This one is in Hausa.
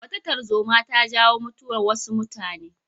Wata tarzoma ta jawo mutuwar wasu mutane.